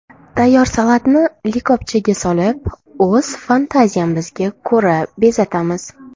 Tayyor salatni likopchaga solib, o‘z fantaziyamizga ko‘ra bezatamiz.